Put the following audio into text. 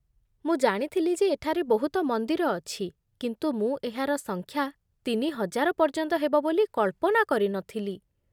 ମୁଁ ଜାଣିଥିଲି ଯେ ଏଠାରେ ବହୁତ ମନ୍ଦିର ଅଛି, କିନ୍ତୁ ମୁଁ ଏହାର ସଂଖ୍ୟା ତିନି ହଜାର ପର୍ଯ୍ୟନ୍ତ ହେବ ବୋଲି କଳ୍ପନା କରି ନଥିଲି।